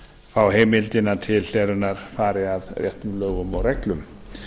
fá heimildina til hlerunar fari að réttum lögum og reglum